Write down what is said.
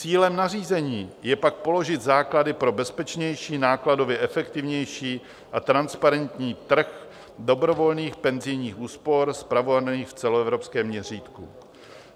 "Cílem nařízení je pak položit základy pro bezpečnější, nákladově efektivnější a transparentní trh dobrovolných penzijních úspor spravovaný v celoevropském měřítku.